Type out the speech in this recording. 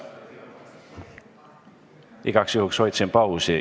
Igaks juhuks hoidsin pausi.